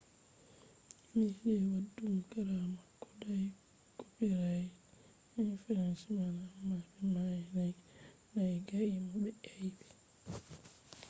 meɗi waddugo kara mako dau copirait infringment amma be nangai mo be aibe